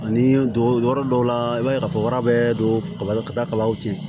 Ani don yɔrɔ dɔw la i b'a ye k'a fɔ bara bɛɛ don kaba ka da kaw tiɲɛ